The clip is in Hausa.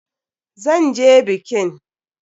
Zan je bikin!